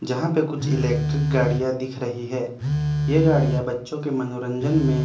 जहां पे कुछ इलेक्ट्रिक गाडि़यां दिख रही है ये गाडि़यां बच्‍चो के मनोरंजन में--